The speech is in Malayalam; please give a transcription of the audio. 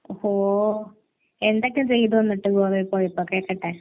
ഓഹ്. എന്തൊക്കെ ചെയ്തു എന്നിട്ട് ഗോവയിൽ പോയപ്പോ. കേൾകട്ടെ